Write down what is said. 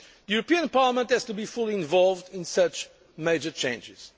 The European Parliament has to be fully involved in such major changes.